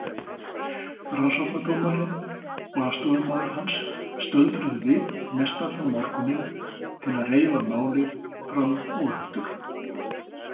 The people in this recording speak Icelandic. Rannsóknardómarinn og aðstoðarmaður hans stöldruðu við mestallan morguninn til að reifa málið fram og aftur.